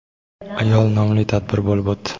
ayol nomli tadbir bo‘lib o‘tdi.